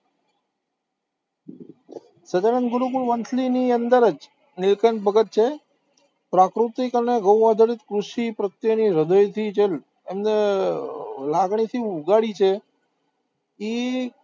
સહજાનંદ ગુરુકુળ વંથલી ની અંદર જ નીલકંઠ ભગત છે, પ્રાકૃતિક અને આધારિત કૃષિ પ્રત્યેની હૃદયથી જેમ એમણે લાગણીથી ઉઘાડી છે, ઈ